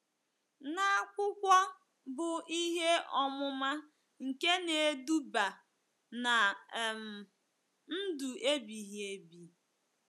na akwụkwọ bụ́ Ihe Ọmụma nke Na-eduba ná um Ndụ Ebighị Ebi.